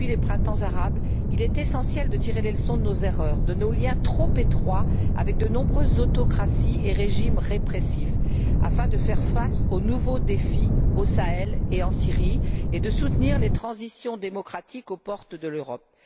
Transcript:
Depuis les printemps arabes, il est essentiel de tirer les leçons de nos erreurs, de nos liens trop étroits avec de nombreux autocraties et régimes répressifs, afin de faire face aux nouveaux défis, au Sahel et en Syrie, et de soutenir les transitions démocratiques aux portes de l'Europe.